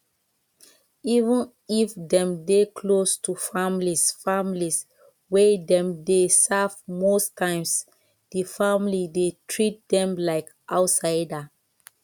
even if dem dey close to families families wey dem dey serve most times di family dey treat dem like outsider